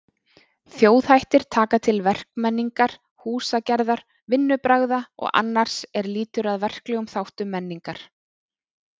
Þjóðhættir taka til verkmenningar, húsagerðar, vinnubragða og annars er lýtur að verklegum þáttum menningar.